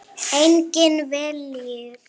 Einnig vellir.